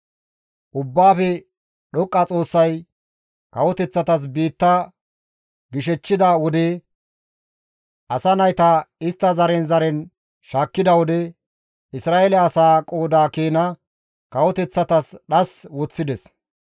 «Ubbaafe Dhoqqa Xoossay kawoteththatas biitta gishechchida wode, asa nayta istta zaren zaren shaakkida wode, Isra7eele asaa qooda keena kawoteththatas dhas woththides.